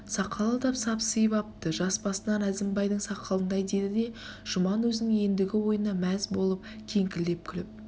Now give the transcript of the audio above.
сақалы да сапсиып апты жас басынан әзімбайдың сақалындай деді де жұман өзінің ендігі ойына мәз болып кеңкілдеп күліп